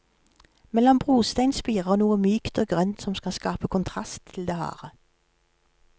Mellom brostein spirer noe mykt og grønt som skal skape kontrast til det harde.